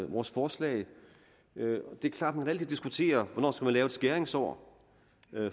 vores forslag det er klart at man altid kan diskutere hvornår man skal lave et skæringsår